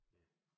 Ja